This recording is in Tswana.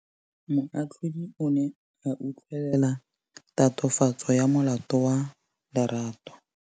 Moatlhodi o ne a utlwelela tatofatsô ya molato wa Lerato.